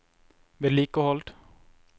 vedlikehold